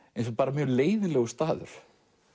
mjög leiðinlegur staður